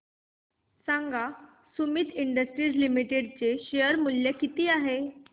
सांगा Sumeet industries limited चे शेअर मूल्य किती आहे